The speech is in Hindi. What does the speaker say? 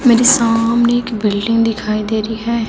मेरे सामने एक बिल्डिंग दिखाई दे रही है।